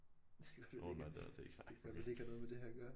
Det kan godt være det ikke er det kan godt være det ikke har noget med det her at gøre